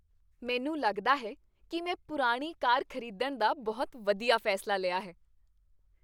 ਮੈਨੂੰ ਲੱਗਦਾ ਹੈ ਕੀ ਮੈਂ ਪੁਰਾਣੀ ਕਾਰ ਖ਼ਰੀਦਣ ਦਾ ਬਹੁਤ ਵਧੀਆ ਫ਼ੈਸਲਾ ਲਿਆ ਹੈ।